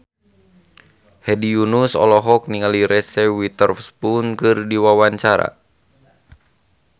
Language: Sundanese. Hedi Yunus olohok ningali Reese Witherspoon keur diwawancara